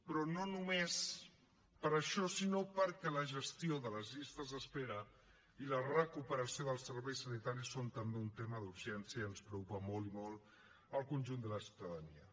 però no només per això sinó perquè la gestió de les llistes d’espera i la recuperació dels serveis sanitaris són també un tema d’urgència i ens preocupa molt i molt al conjunt de la ciutadania